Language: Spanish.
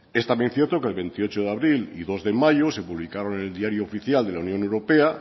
es también cierto que el veintiocho de abril y dos de mayo de publicaron en el diario oficial de la unión europea